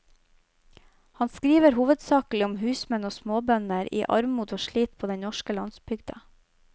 Han skriver hovedsakelig om husmenn og småbønder i armod og slit på den norske landsbygda.